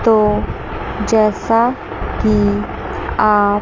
तो जैसा कि आप--